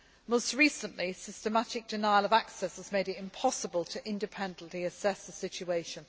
Homs. Most recently, a systematic denial of access has made it impossible to independently assess the situation.